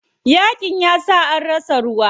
Yaƙin yasa sun rasa ruwa.